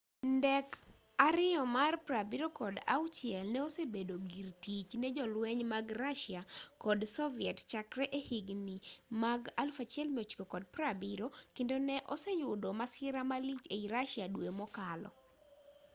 ndek il-76 no osebedo gir tich ne jolweny mag russia kod soviet chakre e higni mag 1970 kendo ne oseyudo masira malich ei russia dwe mokalo